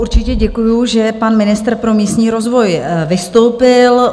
Určitě děkuju, že pan ministr pro místní rozvoj vystoupil.